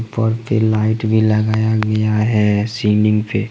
Light भी लगाया गया है सीलिंग पे।